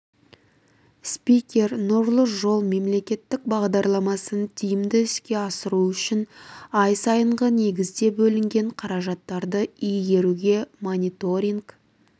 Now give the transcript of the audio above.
спикер нұрлы жол мемлекеттік бағдарламасын тиімді іске асыру үшін ай сайынғы негізде бөлінген қаражаттарды игеруге мониторинг